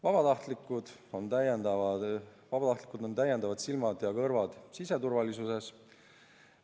Vabatahtlikud on täiendavad silmad ja kõrvad siseturvalisuses.